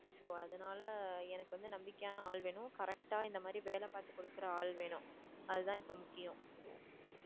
so அதனால எனக்கு வந்து நம்பிக்கையான ஆள் வேணும் correct ஆ இந்த மாதிரி வேலை பாத்துக்கொடுக்கற ஆள் வேணும். அதுதான் இப்போ முக்கியம்